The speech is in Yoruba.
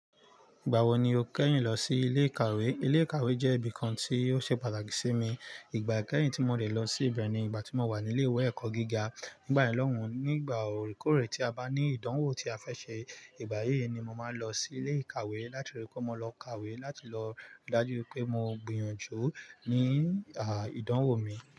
Ìgbà wo ni o kẹ́yìn lọ sí ilé ìkàwé? Ilé ìkàwé jẹ́ ibìkan tí ó ṣe pàtàkì sí mi. Ìgbà kẹ́yìn tí mo dẹ̀ lọ síbẹ̀ ni ìgbà tí mo wà ní ilé-ìwé ẹ̀kọ́ gíga. Nígbà yèn lọ́hùn, nígbà orekòrè tí a bá ní ìdánwò tí a fẹ́ ṣe, ìgbà yíì ni mo máa ń lọ sí ilé ìkàwé láti rí pé mo lọ kàwé láti lọ rí daju pé mo gbìyànjú ní ìdánwò mi.